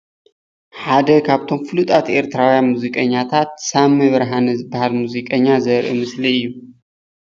ሓደ ካብቶም ፍሉጣት ኤርትያዉያን ሙዚቀኛታት ሳሚ ብርሃነ ዝበሃል ሙዚቀኛ ዘርኢ ምስሊ እዩ፡፡